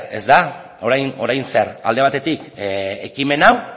ezta orain zer alde batetik ekimen hau